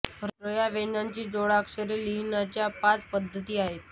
र् या व्यंजनाची जोडाक्षरे लिहिण्याच्या पाच पद्धती आहेत